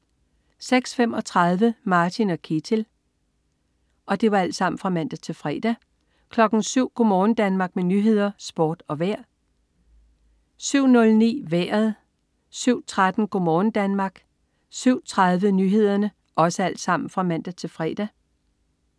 06.35 Martin og Ketil (man-fre) 07.00 Go' morgen Danmark med nyheder, sport og vejr (man-fre) 07.00 Nyhederne og Sporten (man-fre) 07.09 Vejret (man-fre) 07.13 Go' morgen Danmark (man-fre) 07.30 Nyhederne (man-fre)